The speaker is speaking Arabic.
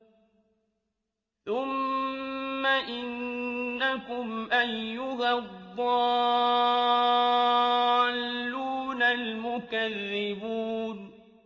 ثُمَّ إِنَّكُمْ أَيُّهَا الضَّالُّونَ الْمُكَذِّبُونَ